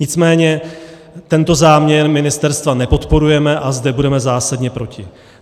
Nicméně tento záměr ministerstva nepodporujeme a zde budeme zásadně proti.